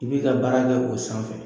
I b'i ka baara kɛ o sanfɛ.